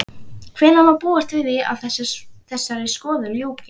Hvenær má búast við að þessari skoðun ljúki?